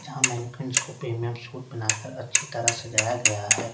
जहां premium suit बनाकर अच्छी तरह सजाया गया है।